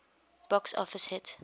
box office hit